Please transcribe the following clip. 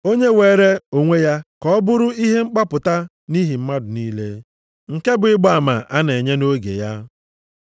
Onye weere onwe ya ka ọ bụrụ ihe mgbapụta nʼihi mmadụ niile, nke bụ ịgba ama a na-enye nʼoge ya.